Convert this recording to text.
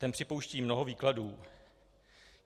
Ten připouští mnoho výkladů.